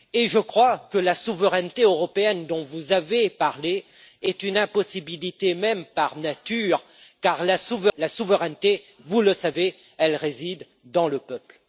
Je crois que la souveraineté européenne dont vous avez parlé est une impossibilité même par nature, car la souveraineté, vous le savez, réside dans le peuple.